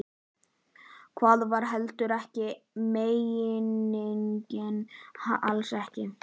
Það var heldur ekki meiningin, alls ekki.